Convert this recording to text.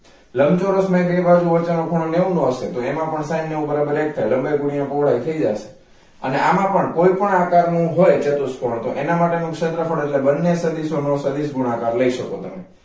લંબચોરસ માં ય બેય બાજુ વચ્ચે નો ખૂણો નેવું આવશે તો તેમાં પણ sine નેવું બરોબર એક થાય લંબાઈ ગુણિયા પહોળાઈ થઈ જશે અને આમા પણ કોઈ પણ આકાર નો હોય ચતુષ્કોણ તો એના માટેનું ક્ષેત્રફળ એટલે બંને સદીસો નો સદીસ ગુણાકાર લઈ સકો તમે